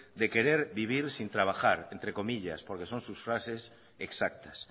de querer vivir sin trabajar entre comillas porque sus frases exactas